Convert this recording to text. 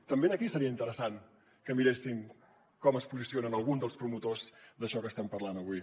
també aquí seria interessant que miressin com es posicionen alguns dels promotors d’això que estem parlant avui